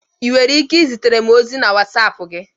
Ị nwere ike izitere m ozi na wasapu gi?